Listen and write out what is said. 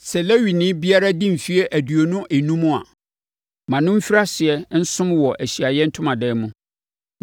“Sɛ Lewini biara di mfeɛ aduonu enum a, ma no mfiri aseɛ nsom wɔ Ahyiaeɛ Ntomadan mu,